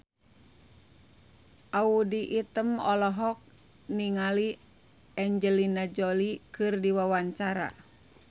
Audy Item olohok ningali Angelina Jolie keur diwawancara